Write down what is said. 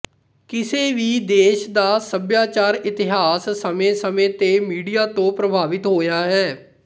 ਕਿਸੇ ਵੀ ਦੇਸ਼ ਦਾ ਸੱਭਿਆਚਾਰ ਇਤਿਹਾਸ ਸਮੇਂਸਮੇਂ ਤੇ ਮੀਡੀਆ ਤੋਂ ਪ੍ਰਭਾਵਿਤ ਹੋਇਆ ਹੈ